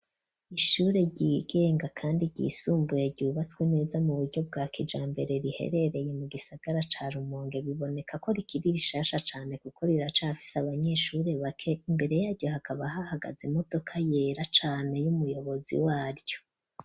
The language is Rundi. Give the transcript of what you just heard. Ishure ryigenga kandi ryisumbuye ryubatswe neza mu buryo bwa kijambere riherereye mu gisagara ca Rumonge biboneka ko rikiri rishasha cane gukor iraca afise abanyeshuri bake imbere yaryo hakaba hahagaze modoka yera cane y'umuyobozi waryo.